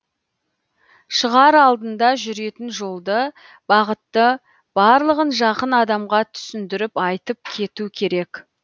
шығар алдында жүретін жолды бағытты барлығын жақын адамға түсіндіріп айтып кету керек